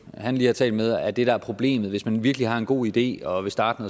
han lige har talt med er det der er problemet at hvis man virkelig har en god idé og vil starte